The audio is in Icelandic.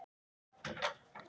Takk fyrir allt, þín systir.